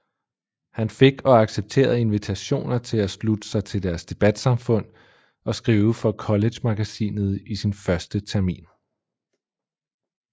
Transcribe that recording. Han fik og accepterede invitationer til at slutte sig til debatsamfund og skrive for collegemagasinet i sin første termin